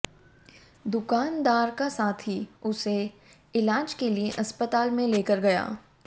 दुकानदार का साथी उसे इलाज के लिए अस्पताल में लेकर गया